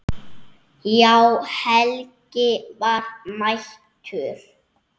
Já, Helgi var mættur.